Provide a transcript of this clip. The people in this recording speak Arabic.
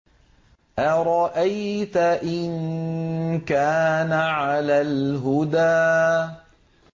أَرَأَيْتَ إِن كَانَ عَلَى الْهُدَىٰ